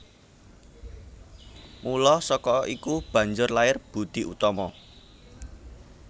Mula saka iku banjur lair Boedi Oetomo